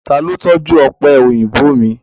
Ta ló tọ́jú ọ̀pẹ̀ òyìnbó mi?